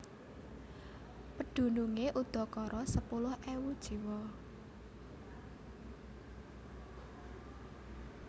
Pedunungé udakara sepuluh ewu jiwa